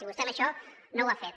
i vostè amb això no ho ha fet